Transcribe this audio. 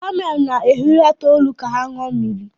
kamel na-ehulata olu ka ha ṅụọ mmiri.